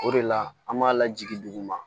O de la an b'a lajigin duguma